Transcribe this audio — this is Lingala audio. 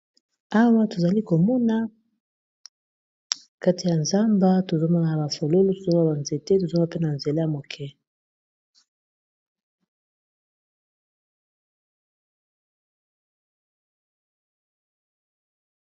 Awa tozali komona kati ya zamba tozo mona na ba fololo tozoma ba nzete tozo mona pe na ba nzela ya moke.